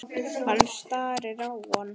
Hann starir á hana.